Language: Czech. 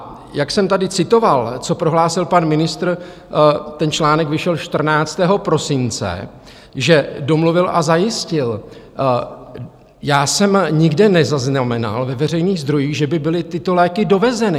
A jak jsem tady citoval, co prohlásil pan ministr, ten článek vyšel 14. prosince, že domluvil a zajistil - já jsem nikde nezaznamenal ve veřejných zdrojích, že by byly tyto léky dovezeny.